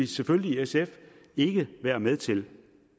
selvfølgelig ikke være med til